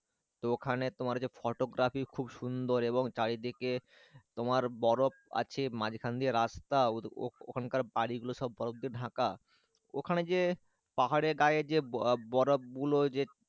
তো ওখানে তোমার যে photography খুব সুন্দর এবং চারিদিকে তোমার বরফ আছে মাঝখান দিয়ে রাস্তা ওখানকার বাড়ি গুলো সব বরফ দিয়ে ঢাকা ওখানে যে পাহাড়ের গায়ে যে বরফ গুলো যে,